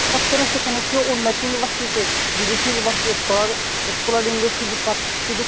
পাচ্ছে না সেখানে সে নো একটা university তে বিদেশী university scholar scholar end এ সুযোগ পাচ্ছে